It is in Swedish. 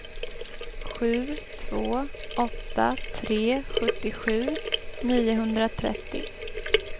sju två åtta tre sjuttiosju niohundratrettio